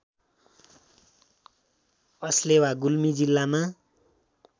अस्लेवा गुल्मी जिल्लामा